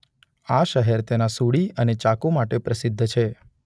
આ શહેર તેના સૂડી અને ચાકુ માટે પ્રસિદ્ધ છે.